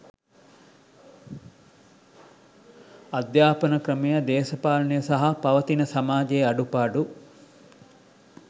අධ්‍යාපන ක්‍රමය දේශපාලනය සහ පවතින සමාජයේ අඩුපාඩු